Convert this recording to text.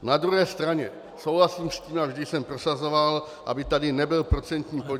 Na druhé straně souhlasím s tím a vždy jsem prosazoval, aby tady nebyl procentní podíl.